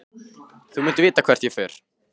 Þú munt vita hvert ég fer.